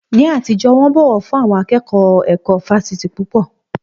Ní àtijọ́, wọ́n bọ̀wọ̀ fún àwọn akẹ́kọ̀ọ́ ẹ̀kọ́ fáfitì púpọ̀.